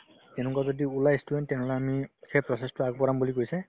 এনেকুৱা ওলাই ই student তেনেহ'লে আমি সেই process তো আগবঢ়াম বুলি কৈছে